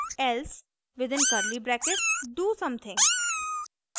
else within curly brackets do something